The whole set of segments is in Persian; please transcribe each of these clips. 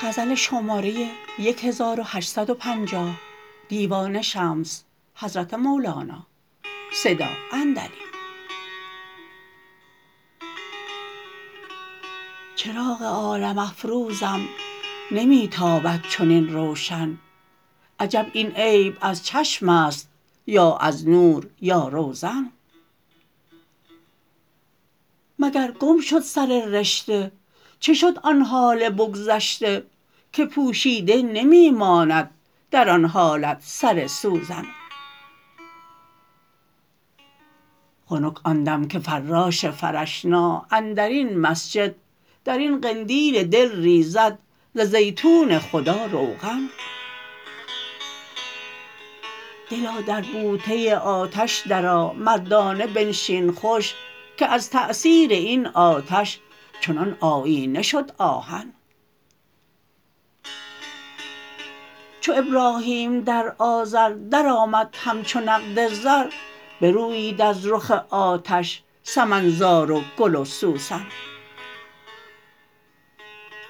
چراغ عالم افروزم نمی تابد چنین روشن عجب این عیب از چشم است یا از نو یا روزن مگر گم شد سر رشته چه شد آن حال بگذشته که پوشیده نمی ماند در آن حالت سر سوزن خنک آن دم که فراش فرشنا اندر این مسجد در این قندیل دل ریزد ز زیتون خدا روغن دلا در بوته آتش درآ مردانه بنشین خوش که از تأثیر این آتش چنان آیینه شد آهن چو ابراهیم در آذر درآمد همچو نقد زر برویید از رخ آتش سمن زار و گل و سوسن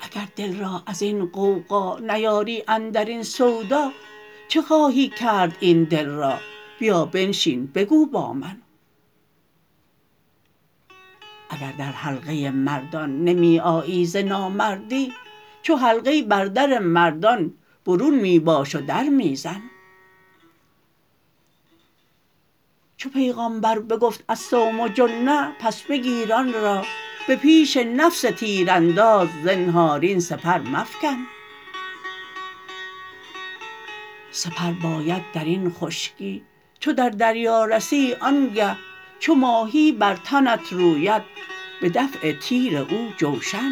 اگر دل را از این غوغا نیاری اندر این سودا چه خواهی کرد این دل را بیا بنشین بگو با من اگر در حلقه مردان نمی آیی ز نامردی چو حلقه بر در مردان برون می باش و در می زن چو پیغامبر بگفت الصوم جنه پس بگیر آن را به پیش نفس تیرانداز زنهار این سپر مفکن سپر باید در این خشکی چو در دریا رسی آنگه چو ماهی بر تنت روید به دفع تیر او جوشن